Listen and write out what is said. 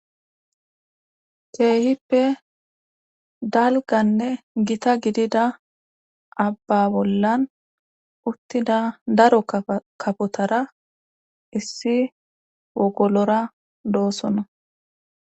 Keehippe dalganne gita gidida abba bollan uttida daro kafotara issi wogolora loosonna